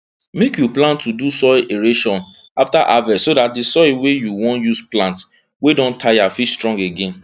make you plan to do soil aeration after harvest so dat di soil wey you wan use plant wey don tire fit strong again